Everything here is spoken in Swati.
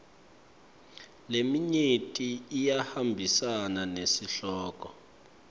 leminyenti iyahambisana nesihloko